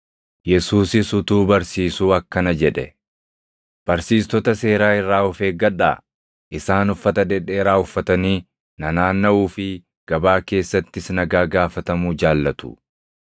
Yesuusis utuu barsiisuu akkana jedhe; “Barsiistota seeraa irraa of eeggadhaa. Isaan uffata dhedheeraa uffatanii nanaannaʼuu fi gabaa keessattis nagaa gaafatamuu jaallatu;